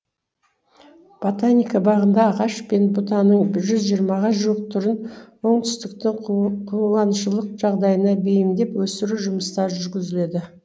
ботаника бағында ағаш пен бұтаның жүз жиырмаға жуық түрін оңтүстіктің қуаншылық жағдайына бейімдеп өсіру жұмыстары жүргізіледі